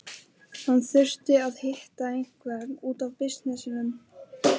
Hann þurfti að hitta einhvern út af bisnessinum.